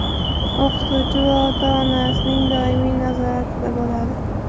O‘qituvchi va ota-onasining doimiy nazoratida bo‘ladi.